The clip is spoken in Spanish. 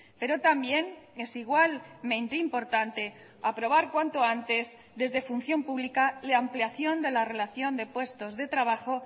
pero también es igualmente importante aprobar cuanto antes desde función pública la ampliación de la relación de puestos de trabajo